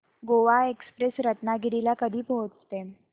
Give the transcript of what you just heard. Goa express Ratnagiri ला कधी पोहचते